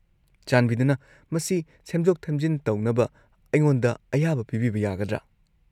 -ꯆꯥꯟꯕꯤꯗꯨꯅ ꯃꯁꯤ ꯁꯦꯝꯗꯣꯛ-ꯁꯦꯝꯖꯤꯟ ꯇꯧꯅꯕ ꯑꯩꯉꯣꯟꯗ ꯑꯌꯥꯕ ꯄꯤꯕꯤꯕ ꯌꯥꯒꯗ꯭ꯔꯥ?